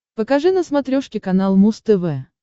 покажи на смотрешке канал муз тв